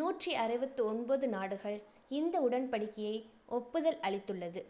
நூற்று அறுவத்து ஒன்பது நாடுகள் இந்த உடன்படிக்கையை ஒப்புதல் அளித்துள்ளது.